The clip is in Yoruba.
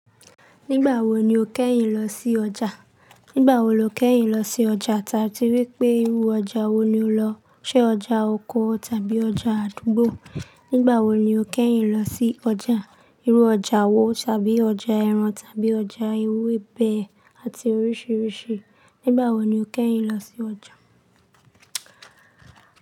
Nígbàwo ni o kẹ́yìn lọ sí ọjà? Nígbàwo lo kẹ́yìn lọ sí ọjà? Tàtí wípé irú ọjà wo ni o lọ? Ṣé ọjà oko tàbí ọjà àdúgbò? Nígbàwo ni o kẹ́yìn lọ sí ọjà? Irú ọjà wo tàbí ọjà ẹran tàbí ọjà ewébẹ̀ àti oríṣiríṣi. Nígbàwo ni o kẹ́yìn lọ sí ọjà?